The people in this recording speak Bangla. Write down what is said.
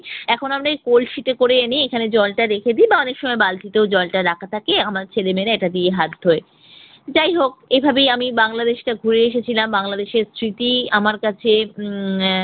এখন আমরাই এই কলসিতে করে এনেই জলটা রেখে দেই বা অনেক সময় বালতিতেও জলটা রাখা থাকে, আমার ছেলেমেয়েরা এইটা দিয়ে হাত ধোয়। যাই হোক, এইভাবেই আমি বাংলাদেশটা ঘুরে এসেছিলাম, বাংলাদেশের স্মৃতি আমার কাছে উম আহ